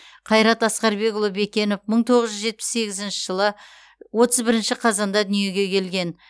қайрат асқарбекұлы бекенов мың тоғыз жүз жетпіс сегізінші жылы отыз бірінші қазанда дүниеге келген